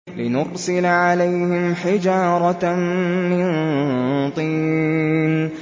لِنُرْسِلَ عَلَيْهِمْ حِجَارَةً مِّن طِينٍ